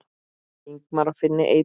Ingimar og Finni Eydal.